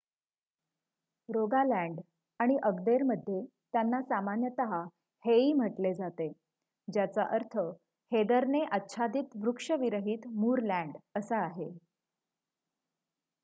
"Rogaland आणि अग्देरमध्ये त्यांना सामान्यतः "हेई" म्हटले जाते ज्याचा अर्थ हेदरने आच्छादित वृक्षविरहित मूरलँड असा आहे.